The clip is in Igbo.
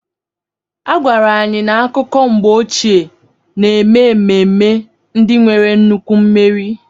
A gwara anyị na akụkọ mgbe ochie na-eme ememme ndị nwere nnukwu mmeri.